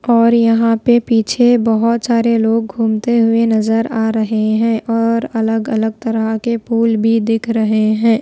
और यहां पे पीछे बहोत सारे लोग घूमते हुए नजर आ रहे हैं और अलग अलग तरह के फूल भी दिख रहे हैं।